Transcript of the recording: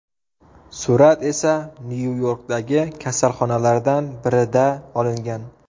Surat esa Nyu-Yorkdagi kasalxonalardan birida olingan.